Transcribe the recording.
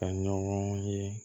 Ka ɲɔgɔn ye